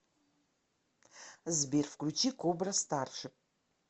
сбер включи кобра старшип